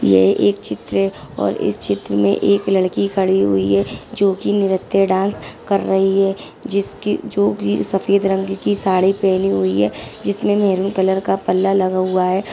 ये एक चित्र है और इस चित्र में एक लड़की खड़ी हुई है जो कि नृत्य डांस कर रही है जिसकी जो की सफ़ेद रंग की साड़ी पहनी हुई है जिसमे मेहंद कलर का पल्ला लगा हुआ है।